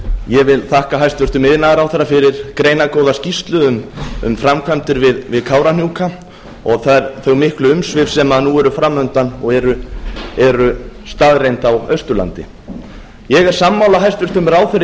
ég vil þakka hæstvirtum iðnaðarráðherra fyrir greinargóða skýrslu um framkvæmdir við kárahnjúka og þau miklu umsvif sem nú eru fram undan og eru staðreynd á austurlandi ég er sammála hæstvirtum ráðherra í